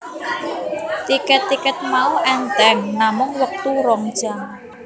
Tiket tiket mau enteng namung wektu rong jam